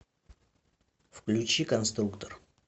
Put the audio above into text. включи конструктор